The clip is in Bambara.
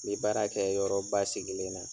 N bɛ baara kɛ yɔrɔ basigilen na.